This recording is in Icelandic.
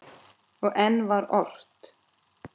Og enn var ort.